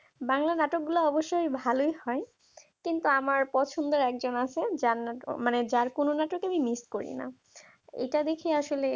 বাংলা নাটক গুলো অবশ্যই ভালই হয় কিন্তু আমার পছন্দের একজন আছে যার মানে যার কোন নাটক আমি miss করি না এটা দেখে আসলে